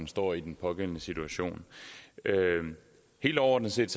står i den pågældende situation helt overordnet set